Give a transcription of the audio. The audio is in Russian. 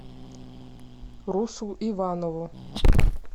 русу иванову